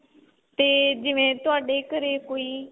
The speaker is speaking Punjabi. ਤੇ ਜਿਵੇਂ ਤੁਹਾਡੇ ਘਰੇ ਕੋਈ